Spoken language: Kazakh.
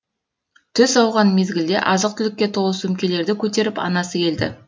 түс ауған мезгілде азық түлікке толы сөмкелерді көтеріп анасы келді